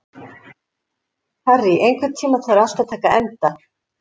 Harry, einhvern tímann þarf allt að taka enda.